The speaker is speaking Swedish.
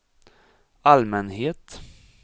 allmänhet